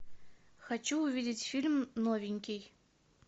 хочу увидеть фильм новенький